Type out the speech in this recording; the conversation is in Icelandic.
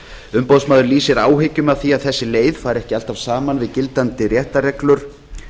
umboðsmaður lýsir áhyggjum yfir því að þessi leið fari ekki alltaf saman við gildandi réttarreglur